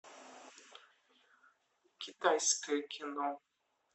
китайское кино